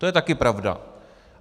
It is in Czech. To je také pravda.